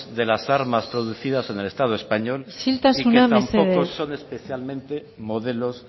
de las armas producidas en el estado español isiltasuna mesedez y que tampoco son especialmente modelos